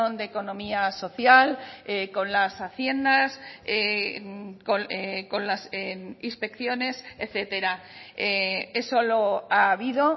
de economía social con las haciendas con las inspecciones etcétera eso lo ha habido